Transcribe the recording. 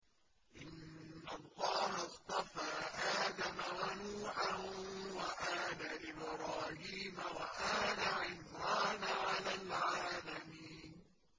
۞ إِنَّ اللَّهَ اصْطَفَىٰ آدَمَ وَنُوحًا وَآلَ إِبْرَاهِيمَ وَآلَ عِمْرَانَ عَلَى الْعَالَمِينَ